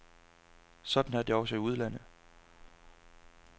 Sådan er det også i udlandet.